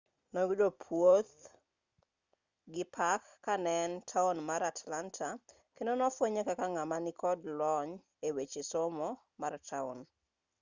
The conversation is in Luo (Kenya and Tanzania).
noyudo puoch gi pak kane en taon mar atlanta kendo nofwenye kaka ng'ama nikod lony eweche somo mar taon